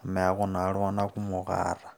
amu eeku naa iltunganak kumok aata.